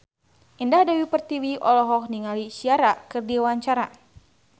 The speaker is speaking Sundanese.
Indah Dewi Pertiwi olohok ningali Ciara keur diwawancara